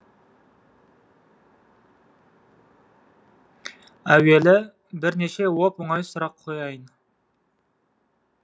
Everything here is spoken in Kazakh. әуелі бірнеше оп оңай сұрақ қояйын